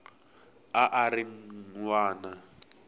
a a ri n wana